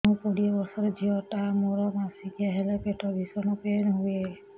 ମୁ କୋଡ଼ିଏ ବର୍ଷର ଝିଅ ଟା ମୋର ମାସିକିଆ ହେଲେ ପେଟ ଭୀଷଣ ପେନ ହୁଏ